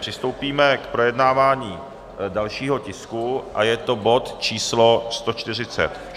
Přistoupíme k projednávání dalšího tisku a je to bod číslo